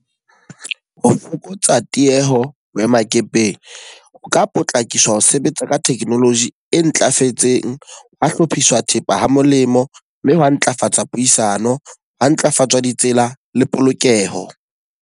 Ho fokotsa tieho boemakepeng, o ka potlakisa ho sebetsa ka technology e ntlafetseng. Hwa hlophiswa thepa ha molemo. Mme hoo ho ntlafatsa puisano, hwa ntlafatsa ditsela le polokeho.